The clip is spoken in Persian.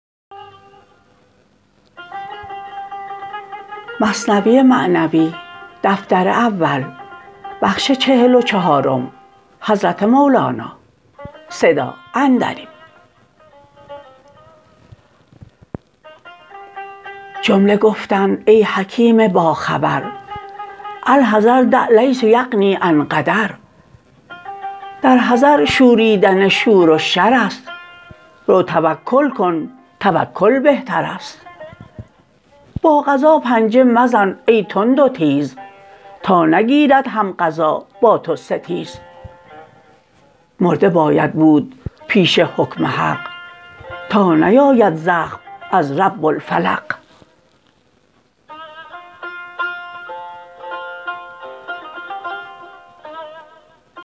جمله گفتند ای حکیم با خبر الحذر دع لیس یغنی عن قدر در حذر شوریدن شور و شر ست رو توکل کن توکل بهتر ست با قضا پنجه مزن ای تند و تیز تا نگیرد هم قضا با تو ستیز مرده باید بود پیش حکم حق تا نیاید زخم از رب الفلق